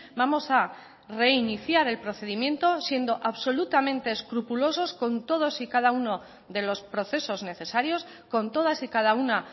vamos a reiniciar el procedimiento siendo absolutamente escrupulosos con todos y cada uno de los procesos necesarios con todas y cada una